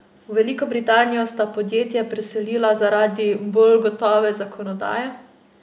V Veliko Britanijo sta podjetje preselila zaradi bolj gotove zakonodaje?